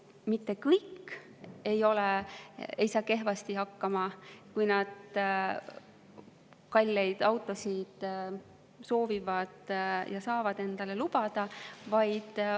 Ja mitte kõik autoomanikud ei saa kehvasti hakkama, eriti kui nad kalleid autosid soovivad ja saavad endale lubada.